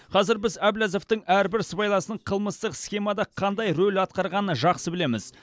қазір біз әбләзовтің әрбір сыбайласының қылмыстық схемада қандай рөл атқарғаны жақсы білеміз